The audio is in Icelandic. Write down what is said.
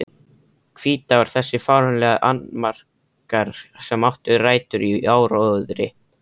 Hvítár Þessir fáránlegu annmarkar, sem áttu rætur í áróðri